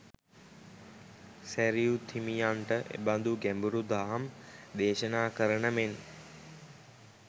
සැරියුත් හිමියන්ට එබඳු ගැඹුරු දහම් දේශනා කරන මෙන්